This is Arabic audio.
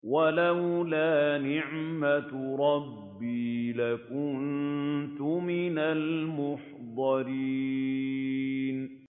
وَلَوْلَا نِعْمَةُ رَبِّي لَكُنتُ مِنَ الْمُحْضَرِينَ